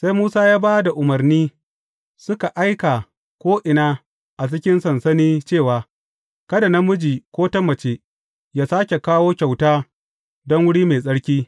Sai Musa ya ba da umarni, suka aika ko’ina a cikin sansani cewa, Kada namiji ko ta mace yă sāke kawo kyauta don wuri mai tsarki.